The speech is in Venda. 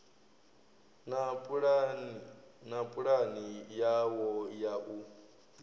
na pulani yawo ya u